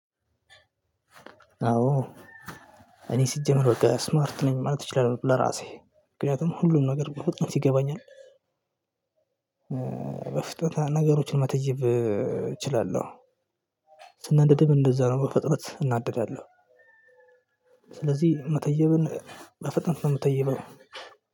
አዎ እኔ ሲጀመር በቃ ስማርት ነኝ ማለት እችላለሁ። ለራሴ ምክንያቱም ሁሉም ነገር በፍጥነት ይገባኛል በፍጥነት ነገሮችን መተየብ እችላለሁ ስናደድም እንደዛ ነው በፍጥነት እናደዳለሁ። ስለዚህ መተየብን በፍጥነት ነው እምተይበው